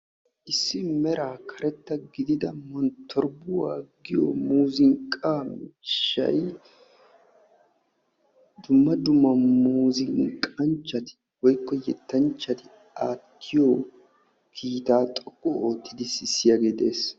Issi meraa karettaa gidida monttorbbuwa giyo muuzunqqaa miishshay dumma dumma muuzunqqanchchati woykko yettanchchati aatiyo kiitaa xoqqu oottidi sissiyagee dees.